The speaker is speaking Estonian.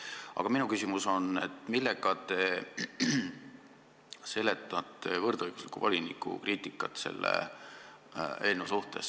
Aga minu küsimus on: millega te seletate võrdõiguslikkuse voliniku kriitikat selle eelnõu kohta?